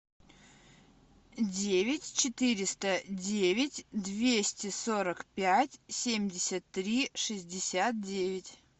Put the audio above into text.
девять четыреста девять двести сорок пять семьдесят три шестьдесят девять